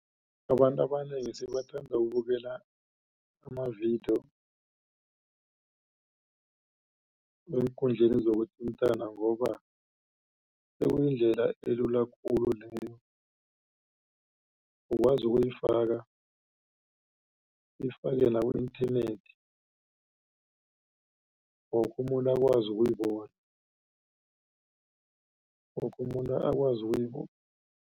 Abantu abanengi sebathanda ukubukela amavidiyo eenkundleni zokuthintana ngoba sekuyindlela elula khulu leyo ukwazi ukuyifaka uyifake la ku-internet woke umuntu akwazi ukuyibona woke umuntu akwazi ukuyibona.